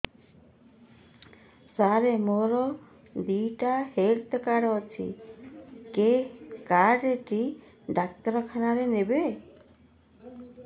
ସାର ମୋର ଦିଇଟା health card ଅଛି କେ କାର୍ଡ ଟି ଡାକ୍ତରଖାନା ରେ ନେବେ